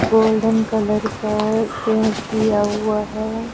Golden colour का paint किया हुआ है।